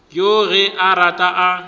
yoo ge a rata a